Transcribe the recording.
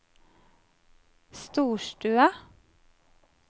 storstue